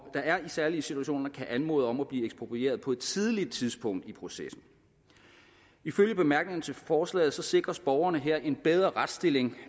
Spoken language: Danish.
særlige situationer kan anmode om at blive eksproprieret på et tidligt tidspunkt i processen ifølge bemærkningerne til forslaget sikres borgerne her en bedre retsstilling